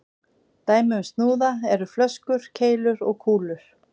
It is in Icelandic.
Dæmi um snúða eru flöskur, keilur og kúlur.